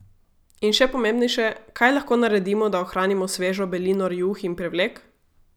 In še pomembnejše, kaj lahko naredimo, da ohranimo svežo belino rjuh in prevlek?